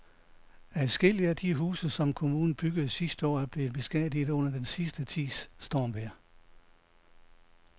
Adskillige af de huse, som kommunen byggede sidste år, er blevet beskadiget under den sidste tids stormvejr.